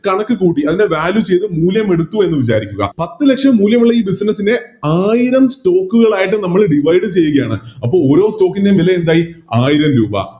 കണക്ക് കൂട്ടി അതിനെ Value ചെയ്ത മൂല്യം എടുത്തു എന്ന് വിചാരിക്കുക പത്ത് ലക്ഷം മൂല്യമുള്ള ഈ Business നെ ആയിരം Stock കൾ ആയിട്ട് നമ്മള് Divide ചെയ്യുകയാണ് അപ്പൊ ഓരോ Stock ൻറെ വില എന്തായി ആയിരം രൂപാ